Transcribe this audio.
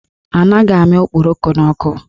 Anaghị amị okporoko n'ọkụ.